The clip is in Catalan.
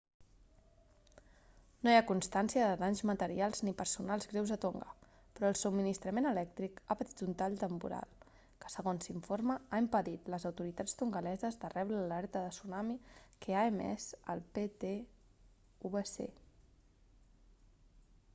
no hi ha constància de danys materials ni personals greus a tonga però el subministrament elèctric ha patit un tall temporal que segons s'informa ha impedit les autoritats tongaleses de rebre l'alerta de tsunami que ha emès el ptwc